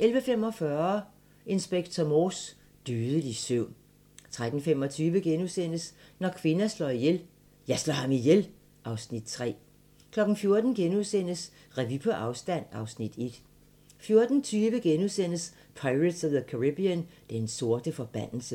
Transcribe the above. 11:45: Inspector Morse: Dødelig søvn 13:25: Når kvinder slår ihjel - Jeg slår ham ihjel (Afs. 3)* 14:00: Revy på afstand (Afs. 1)* 14:20: Pirates of the Caribbean: Den sorte forbandelse *